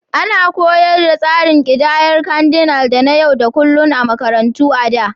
Ana koyar da tsarin ƙidayar Cardinal da na yau da kullun a makarantu a da.